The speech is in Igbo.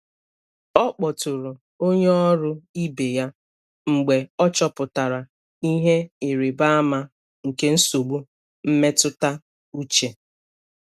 Ọ kpọtụrụ onye ọrụ ibe ya mgbe ọ chọpụtara ihe ịrịba ama nke nsogbu mmetụta uche.